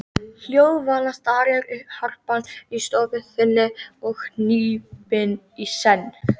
Hljóðvana starir harpan í stofu þinni og hnípin í senn.